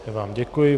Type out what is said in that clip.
Já vám děkuji.